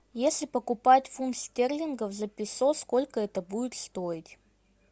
если покупать фунт стерлингов за песо сколько это будет стоить